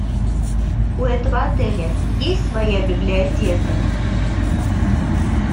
у этого отеля есть своя библиотека